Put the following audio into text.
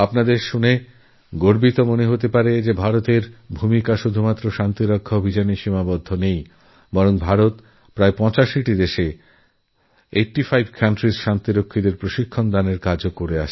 আপনারা শুনে গর্ববোধকরবেন যে ভারতের ভূমিকা শুধুমাত্র শান্তিরক্ষার কাজেই সীমাবদ্ধ নেই ভারত ৮৫টিদেশের শান্তিরক্ষা বাহিনীকে প্রশিক্ষণ দেওয়ার কাজও করে